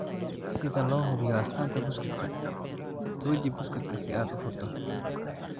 Sida loo hubiyo astaanta buskudka tuji buskudka si aad u furto.